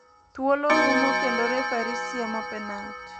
Thuolo ruomo kendo refari siemo penalt.